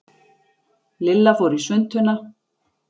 Lilla fór í svuntuna.